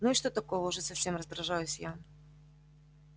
ну и что такого-то уже совсем раздражаюсь я